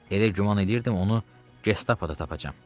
Elə güman edirdim onu Gestapoda tapacam.